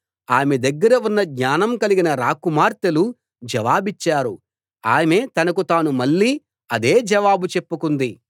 ఆమె దగ్గర ఉన్న జ్ఞానం కలిగిన రాకుమార్తెలు జవాబిచ్చారు ఆమె తనకు తాను మళ్ళీ అదే జవాబు చెప్పుకుంది